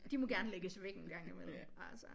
De må gerne lægges væk en gang imellem altså